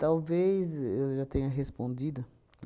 Talvez eu já tenha respondido.